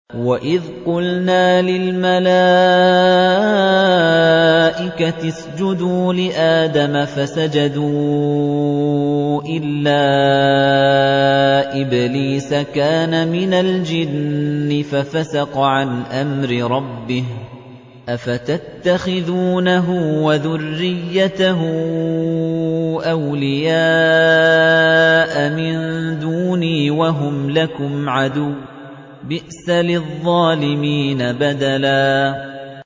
وَإِذْ قُلْنَا لِلْمَلَائِكَةِ اسْجُدُوا لِآدَمَ فَسَجَدُوا إِلَّا إِبْلِيسَ كَانَ مِنَ الْجِنِّ فَفَسَقَ عَنْ أَمْرِ رَبِّهِ ۗ أَفَتَتَّخِذُونَهُ وَذُرِّيَّتَهُ أَوْلِيَاءَ مِن دُونِي وَهُمْ لَكُمْ عَدُوٌّ ۚ بِئْسَ لِلظَّالِمِينَ بَدَلًا